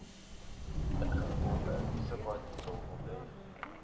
ingevolge subartikel onthef